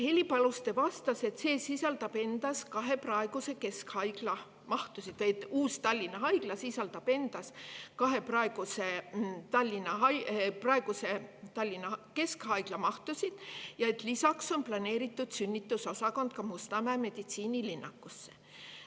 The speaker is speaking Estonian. Heli Paluste vastas, et sisaldab kahe praeguse Tallinna keskhaigla mahtusid ja lisaks on sünnitusosakond planeeritud Mustamäe meditsiinilinnakusse.